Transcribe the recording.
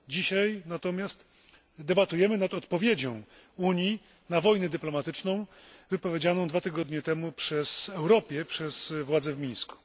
Dzisiaj natomiast debatujemy nad odpowiedzią Unii na wojnę dyplomatyczną wypowiedzianą dwa tygodnie temu Europie przez władze w Mińsku.